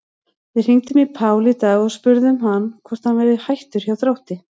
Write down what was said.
Við hringdum í Pál í dag og spurðum hann hvort hann væri hættur hjá Þrótti?